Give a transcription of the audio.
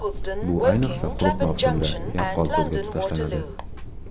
Bu, ayniqsa, quruq mavsumda yaqqol ko‘zga tashlanadi.